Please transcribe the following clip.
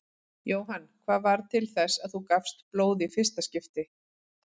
Jóhann: Hvað varð til þess að þú gafst blóð í fyrsta skipti?